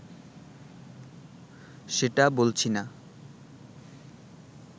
সেটা বলছি না